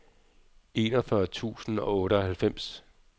enogfyrre tusind og otteoghalvfems